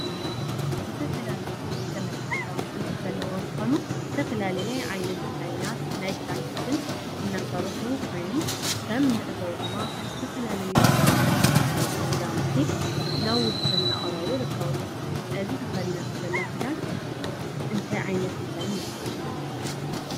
ዝተፈላለዩ ዘመናዊ ከዳውንቲ ዘለዎ እንትኮኑ ዝተፈላለየ ዓይነት ዲዛየናት ናይ ክዳን ቅድን እናሰሩሑ ኮይን ከም እንዕዞ ድማ ብዝተፈላለዩ ዲዛይነራት ዝቀረቡ ክዳውንቲ ናብ ውድድር እናቀረቡ ይርክቡ እዚ ተከዲናቶ ዘላ ከዳን እንታይ ዓይነተ ዲዛይን ይበሃል?